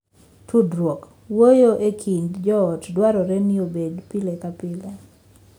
Tudruok (wuoyo) e kind joot dwarore ni obedi pile ka pile.